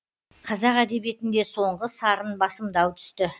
қазақ әдебиетінде соңғы сарын басымдау түсті